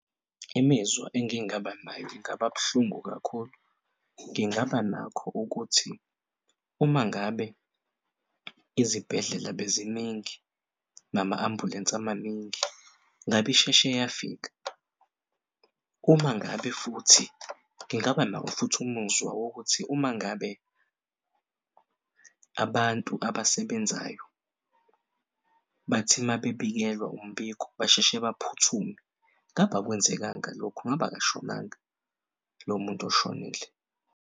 Imizwa engingaba nayo ingaba buhlungu kakhulu. Ngingaba nakho ukuthi uma ngabe izibhedlela beziningi nama ambulensi amaningi ngabe isheshe yafika. Uma ngabe futhi ngingaba nawofuthi umuzwa wokuthi uma ngabe abantu abasebenzayo bathi mabebikelwa umbiko basheshe baphuthume, ngabe akwenzekanga lokhu, ngab'akashonanga lomuntu oshonile.